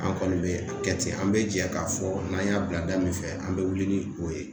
An kɔni be a kɛ ten, an be jɛ ka fɔ n'an y'a bila da min fɛ an be wuli ni o ye.